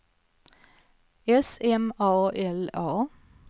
S M A L A